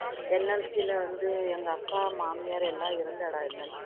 NLC ல வந்து எங்க அக்கா மாமியார் எல்லாம் இருந்த இடம்